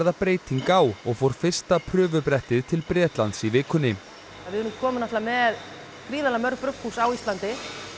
breyting á og fór fyrsta til Bretlands í vikunni við erum komin náttúrulega með gríðarlega mörg brugghús á Íslandi